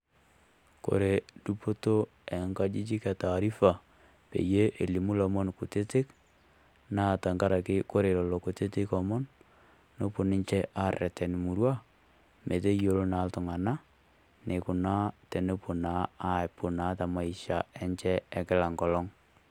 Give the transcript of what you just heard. Kore dupoto oo ngajijik etaarifa pee elimu olomon kutitik naa tengaraki ore lelo omon kutitik naa nepuo ninche aarreten murua metayiolo naa iltung'anak enepuo naa aikunaa teMaisha enche ekila engolong'.